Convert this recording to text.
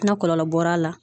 Na kɔlɔlɔ bɔr'a la.